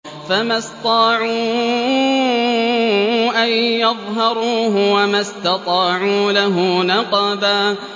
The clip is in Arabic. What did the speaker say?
فَمَا اسْطَاعُوا أَن يَظْهَرُوهُ وَمَا اسْتَطَاعُوا لَهُ نَقْبًا